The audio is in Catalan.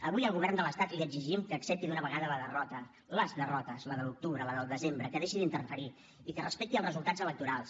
avui al govern de l’estat li exigim que accepti d’una vegada la derrota les derrotes la de l’octubre la del desembre que deixi d’interferir i que respecti els resultats electorals